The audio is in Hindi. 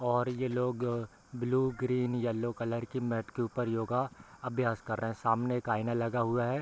और ये लोग ब्लू ग्रीन येल्लो कलर की मैट के ऊपर योगा अभ्यास कर रहे है सामने एक आईना लगा हुआ है।